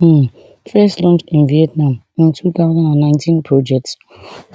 um first launched in vietnam in two thousand and nineteen project